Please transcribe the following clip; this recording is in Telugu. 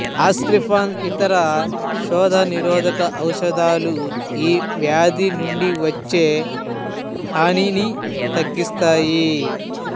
ఆస్ప్రిన్ ఇతర శోథ నిరోధక ఔషదాలు ఈ వ్యాధి నుండి వచ్చే హానిని తగ్గిస్తాయి